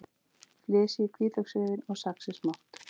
Flysjið hvítlauksrifin og saxið smátt.